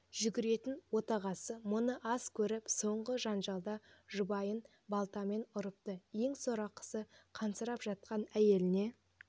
жүгіретін отағасы мұны аз көріп соңғы жанжалда жұбайын балтамен ұрыпты ең сорақысы қансырап жатқан әйеліне